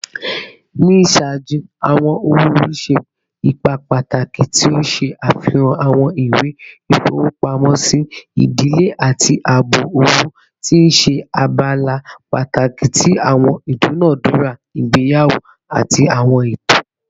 Ni iṣaaju, awọn owo-ori ṣe ipa pataki, ti o ṣe afihan awọn iwe ifowopamosi idile ati aabo owo, ti n ṣe abala pataki ti awọn idunadura igbeyawo ati awọn eto.